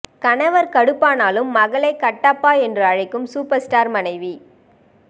கணவர் கடுப்பானாலும் மகளை கட்டப்பா என்று அழைக்கும் சூப்பர் ஸ்டார் மனைவி